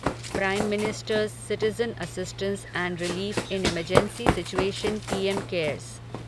prime ministers citizen assistance and relief in emergency situation PM cares